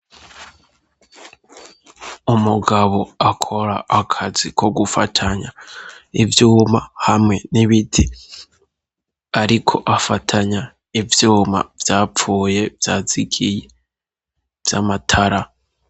Umugabo akora akazi ko gufatanya ivyuma hamwe n'ibiti ariko afatanya ivyuma vyapfuye vyazigiye vy'amatara.